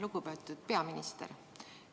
Lugupeetud peaminister!